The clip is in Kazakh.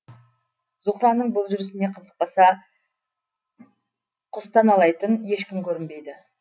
зуһраның бұл жүрісіне қызықпаса кұстаналайтын ешкім көрінбейді